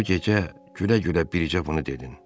O gecə gülə-gülə bircə bunu dedin: